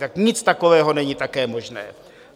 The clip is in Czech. Tak nic takového není také možné.